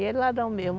E de ladrão mesmo.